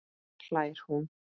hlær hún.